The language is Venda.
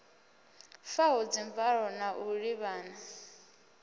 faho dzimvalo na u ḓivhana